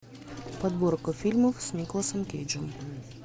подборка фильмов с николасом кейджем